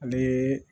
Ale